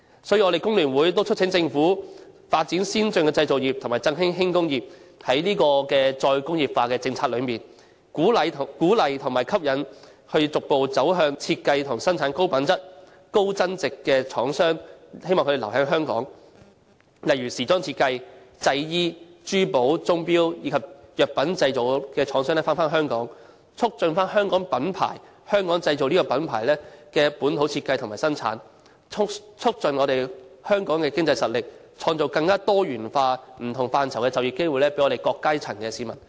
所以，工聯會促請政府發展先進的製造業及振興輕工業，在再工業化的政策中，鼓勵和吸引逐步走向設計和生產高品質、高增值貨品的廠商，希望他們留在香港發展。例如時裝設計、製衣、珠寶、鐘錶及藥品製造的廠商返回香港，促進香港品牌、"香港製造"這個品牌的本土設計和生產，促進香港的經濟實力，創造更多元化、不同範疇的就業機會，從而惠及我們各階層的市民。